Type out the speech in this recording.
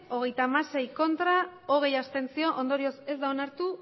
hogeita hamasei abstentzioak hogei ondorioz ez da onartu